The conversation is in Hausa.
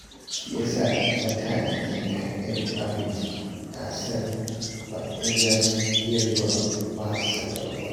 Shi ya sa na tanadi kayan abinci, na san baƙin za su iya zuwa ba sanarwa